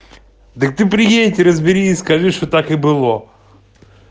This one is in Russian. так ты приедь и разбери и скажи что так и было